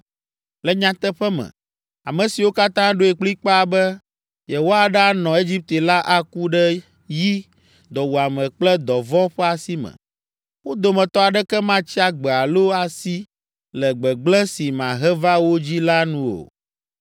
Le nyateƒe me, ame siwo katã ɖoe kplikpaa be yewoaɖanɔ Egipte la aku ɖe yi, dɔwuame kple dɔvɔ̃ ƒe asi me, wo dometɔ aɖeke matsi agbe alo asi le gbegblẽ si mahe va wo dzii la nu o.” ’